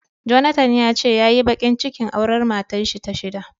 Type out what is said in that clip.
Jonathan yace yayi bakin cikin auren matarshi ta shida.